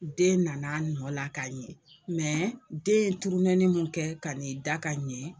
Den nana nɔ la ka ɲɛ mɛ den ye turunɛnin kɛ ka nin da ka ɲɛn.